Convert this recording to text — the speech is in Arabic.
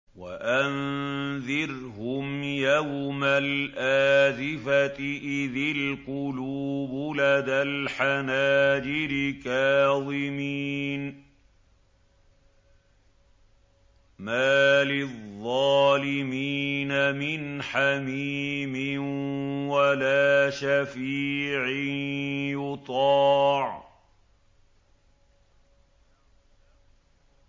وَأَنذِرْهُمْ يَوْمَ الْآزِفَةِ إِذِ الْقُلُوبُ لَدَى الْحَنَاجِرِ كَاظِمِينَ ۚ مَا لِلظَّالِمِينَ مِنْ حَمِيمٍ وَلَا شَفِيعٍ يُطَاعُ